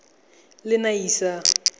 lenasia